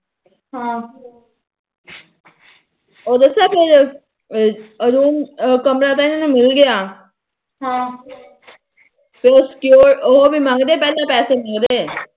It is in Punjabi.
ਉਹ ਦਸਾ ਫਿਰ ਕਮਰਾ ਤਾ ਇਹਨਾ ਨੂੰ ਮਿਲ ਗਿਆ ਹਮ ਫਿਰ ਉਹ ਉਹ ਵੀ ਮੰਗਦੇ ਪਹਿਲਾ ਪੈਸੇ ਵੀ ਮੰਗਦੇ